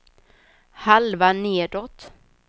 halva nedåt